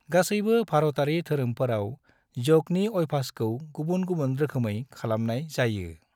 गासैबो भारतारि धोरोमफोराव योगनि अभ्यासखौ गुबुन गुबुन रोखोमै खालामनाय जायो।